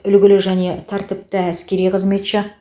үлгілі жане тәртіпті әскери қызметші